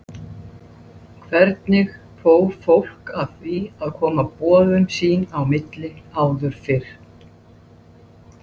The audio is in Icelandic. Þaðan breiddist mannkynið út í allar áttir á löngum tíma sem mælist í tugum árþúsunda.